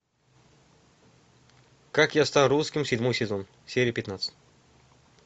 как я стал русским седьмой сезон серия пятнадцать